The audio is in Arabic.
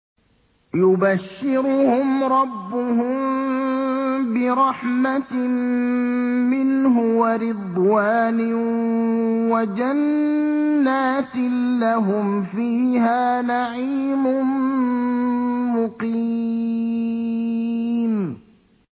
يُبَشِّرُهُمْ رَبُّهُم بِرَحْمَةٍ مِّنْهُ وَرِضْوَانٍ وَجَنَّاتٍ لَّهُمْ فِيهَا نَعِيمٌ مُّقِيمٌ